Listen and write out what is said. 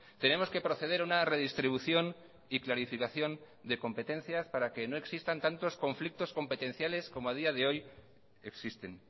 tenemos que proceder a una redistribución y clarificación de competencias para que no existan tantos conflictos competenciales como a día de hoy existen